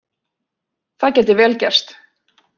Það gæti vel gerst